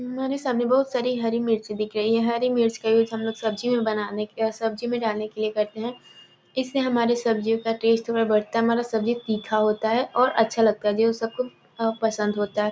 हमारे सामने बहुत सारी हरी मिर्च दिख रही हैं हरी मिर्च का यूज़ हम लोग सब्जी बनाने सब्जी में डालने के लिए करते हैं जिससे हमारी सब्जी टेस्ट बढ़ता है हमारी सब्जी तीखा होता है और सब्जी अच्छा लगता है जो सबको बहुत पंसद होता है।